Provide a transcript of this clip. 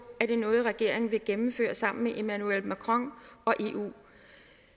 er det noget regeringen vil gennemføre sammen med emmanuel macron og eu